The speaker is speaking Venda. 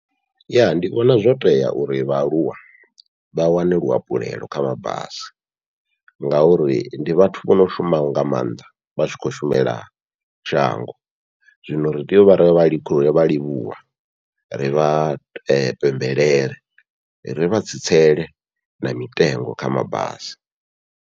Ya ndi vhona zwo tea uri vhaaluwa vha wane luhafhulelo kha mabasi, ngauri ndi vhathu vho no shumaho nga maanḓa vha tshi khou shumela shango, zwino ri tea uvha ri khou vha livhuwa ri vha pembelele ri vha tsitsele na mitengo kha mabasi.